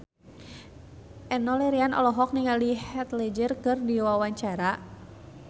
Enno Lerian olohok ningali Heath Ledger keur diwawancara